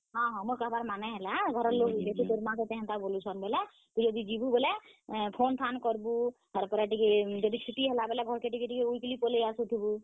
ହଁ, ହଁ, ମୋର୍ କହେବାର୍ ମାନେ ହେଲା, ଯଦି ଘରର୍ ଲୋକ, ତୋର୍ ମା ଯଦି ତତେ ହେନ୍ତା ବଲୁଛନ୍ ବେଲେ, ତୁଇ ଯଦି ଯିବୁ ବେଲେ phone କର୍ ବୁ, ଆଉ ଯଦି ଛୁଟିଛୁଟା ହେବା ବେଲେ ଘର୍ କେ ଟିକେଟିକେ weekly ପଲେଇ ଆସୁଥିବୁ।